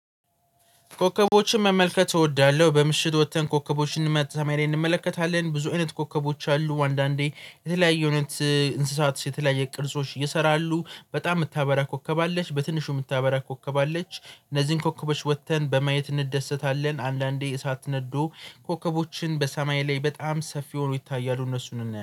ኮከቦችን መመልከት እወዳለሁ በምሽት ወጥተን ኮከቦችን ሰማይ ላይ እንመለከታለን። ብዙ አይነት ኮከቦች አሉ አንዳንዴ የተለያየ አይነት እንስሳት የተለያየ ቅርጾች ይሰራሉ በጣም የምታበራ ኮከብ አለች። በትንሹ የምታበራ ኮከብ አለች። እነዚህን ኮከቦች ወጥተን በማየት እንደሰታለን። አንዳንዴ እሳት ነዶ ኮከቦችን በሰማይ ላይ በጣም ሰፊ ሆኖ ይታያሉ እነሱን እናያለን